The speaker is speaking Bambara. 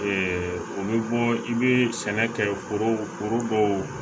o bɛ bɔ i bɛ sɛnɛ kɛ foro foro dɔw